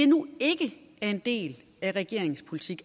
nu ikke er en del af regeringens politik